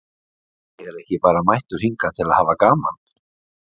Ég er ekki bara mættur hingað til að hafa gaman.